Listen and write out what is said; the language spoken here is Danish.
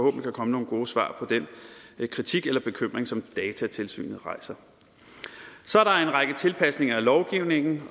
kan komme nogle gode svar på den kritik eller bekymring som datatilsynet rejser så er der en række tilpasninger af lovgivningen